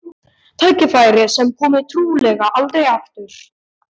Tækifæri sem komi trúlega aldrei aftur.